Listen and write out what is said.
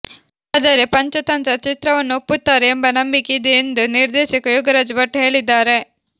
ಆದರೆ ಪಂಚತಂತ್ರ ಚಿತ್ರವನ್ನು ಒಪ್ಪುತ್ತಾರೆ ಎಂಬ ನಂಬಿಕೆ ಇದೆ ಎಂದು ನಿರ್ದೇಶಕ ಯೋಗರಾಜ ಭಟ್ ಹೇಳಿದ್ದಾರೆ